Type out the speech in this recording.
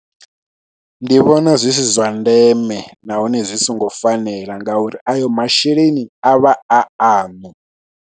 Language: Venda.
Ndi vhona zwi zwa ndeme nahone zwi songo fanela ngauri ayo masheleni a vha a aṋu.